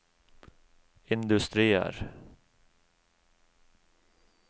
industrier